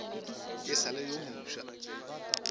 e sa le yo mofsa